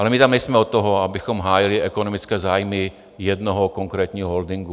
Ale my tam nejsme od toho, abychom hájili ekonomické zájmy jednoho konkrétního holdingu.